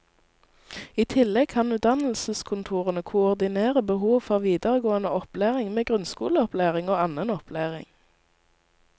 I tillegg kan utdannelseskontorene koordinere behov for videregående opplæring med grunnskoleopplæring og annen opplæring.